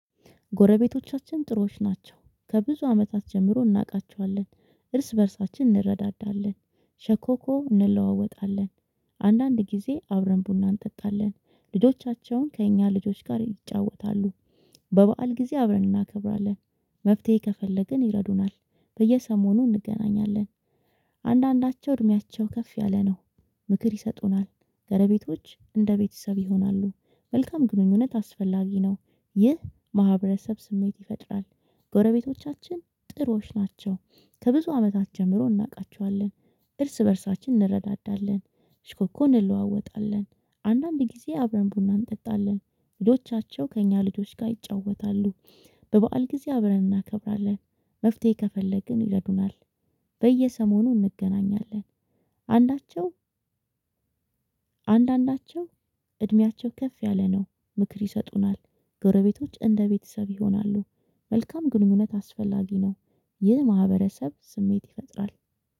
ጎረቤቶቻችን ጥሩዎች ናቸው። ከብዙ አመታት ጀምሮ እናውቃቸዋለን። እርስ በእርሳችን እንረዳዳለን። ሸኮኮ እንለዋወጣለን። አንዳንድ ጊዜ አብረን ቡና እንጠጣለን። ልጆቻቸውን ከእኛ ልጆች ጋር ይጫወታሉ። በበዓል ጊዜ አብረን እናከብራለን። መፍትሄ ከፈለግን ይረዱናል። በየሰሞኑ እንገናኛለን። አንዳንዳቸው እድሜያቸው ከፍ ያለ ነው። ምክር ይሰጡናል። ጎረቤቶች እንደ ቤተሰብ ይሆናሉ። መልካም ግንኙነት አስፈላጊ ነው። ይህ ማህበረሰብ ስሜት ይፈጥራል። ጎረቤቶቻችን ጥሩዎች ናቸው። ከብዙ አመታት ጀምሮ እናውቃቸዋለን። እርስ በእርሳችን እንረዳዳለን። እሽኮኮን እንለዋወጣለን። አንዳንድ ጊዜ አብረን ቡና እንጠጣለን። ልጆቻቸው ከእኛ ልጆች ጋር ይጫወታሉ። በበዓል ጊዜ አብረን እናከብራለን። መፍትሄ ከፈለግን ይረዱናል። በየሰሞኑ እንገናኛለን። አንዳቸው አንዳንዳቸው እድሜያቸው ከፍ ያለ ነው። ምክር ይሰጡናል። ጎረቤቶች እንደ ቤተሰብ ይሆናሉ። መልካም ግንኙነት አስፈላጊ ነው። ይህ ማህበረሰብ ስሜት ይፈጥራል